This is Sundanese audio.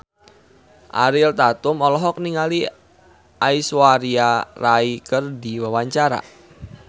Ariel Tatum olohok ningali Aishwarya Rai keur diwawancara